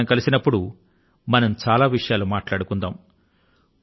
ఈ సారి మనం కలుసుకొన్నప్పుడు మనం చాలా విషయాలను గురించి మాట్లాడుకుందాము